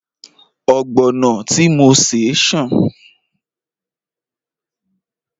Ọ̀gbọ̀nọ̀ tí mo ṣè ṣàn